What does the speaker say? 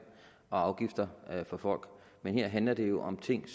og afgifter fra folk men her handler det jo om ting